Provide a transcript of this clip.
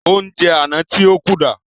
Ounjẹ àna tí ó kù dà?